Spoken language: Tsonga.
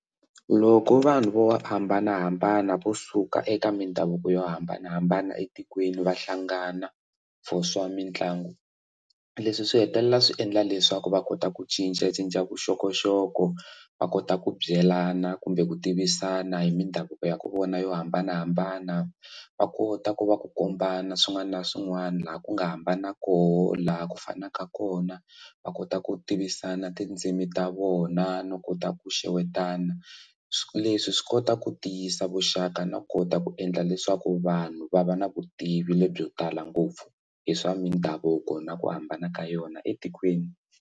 Loko vanhu vo hambanahambana vo suka eka mindhavuko yo hambanahambana etikweni va hlangana for swa mitlangu leswi swi hetelela swi endla leswaku va kota ku cincacinca vuxokoxoko va kota ku byelana kumbe ku tivisana hi mindhavuko ya ka vona yo hambanahambana va kota ku va ku kombana swin'wana na swin'wana laha ku nga hambana koho laha ku fanaka kona va kota ku tivisana tindzimi ta vona no kota ku xewetana leswi swi kota ku tiyisa vuxaka no kota ku endla leswaku vanhu va va na vutivi lebyo tala ngopfu hi swa mindhavuko na ku hambana ka yona etikweni.